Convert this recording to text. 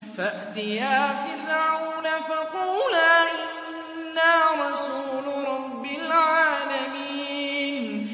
فَأْتِيَا فِرْعَوْنَ فَقُولَا إِنَّا رَسُولُ رَبِّ الْعَالَمِينَ